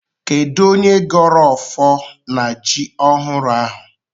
Kedụ onye gọrọ ọfọ na jị ọhụụ ahụ?